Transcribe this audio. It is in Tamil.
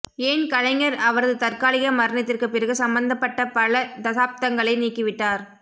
ஏன் கலைஞர் அவரது தற்காலிக மரணத்திற்குப் பிறகு சம்பந்தப்பட்ட பல தசாப்தங்களை நீக்கிவிட்டார்